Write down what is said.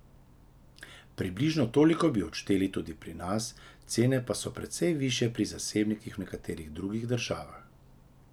Približno toliko bi odšteli tudi pri nas, cene pa so precej višje pri zasebnikih v nekaterih drugih državah.